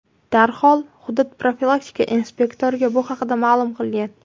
darhol hudud profilaktika inspektoriga bu haqda ma’lum qilgan.